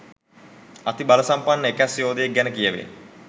අති බලසම්පන්න එකැස් යෝධයෙක් ගැන කියැවේ.